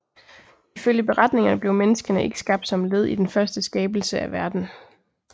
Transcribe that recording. Ifølge beretningerne blev menneskene ikke skabt som led i den første skabelse af verden